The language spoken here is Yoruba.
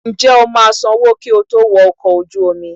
Njẹ o ma sánwọ ki o to wọ̀ ọkọ ojú omí